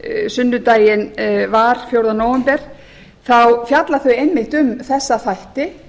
sunnudaginn var fjórða nóvember þá fjalla þau einmitt um þessa þætti